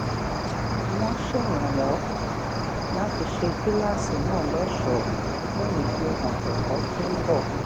wón ṣèrànwó láti ṣe kíláàsì náà lóṣòó fún ìfihàn èkó tó ń bò